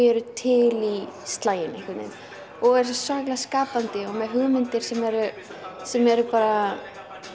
eru til í slaginn einhvern veginn og eru svo svakalega skapandi og með hugmyndir sem eru sem eru bara